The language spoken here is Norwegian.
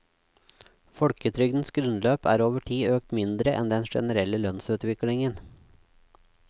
Folketrygdens grunnbeløp er over tid økt mindre enn den generelle lønnsutviklingen.